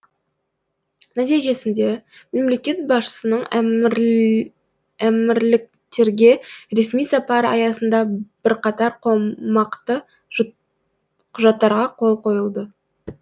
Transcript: нәтижесінде мемлекет басшысының әмірліктерге ресми сапары аясында бірқатар қомақты құжаттарға қол қойылды